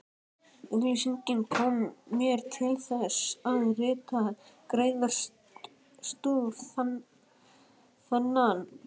Auglýsingin kom mér til þess, að rita greinarstúf þennan.